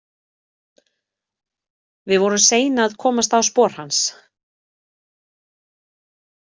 Við vorum sein að komast á spor hans.